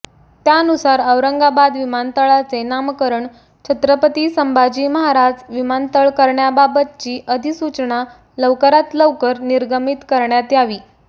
त्यानुसार औरंगाबाद विमानतळाचे नामकरण छत्रपती संभाजी महाराज विमानतळ करण्याबाबतची अधिसूचना लवकरात लवकर निर्गमित करण्यात यावी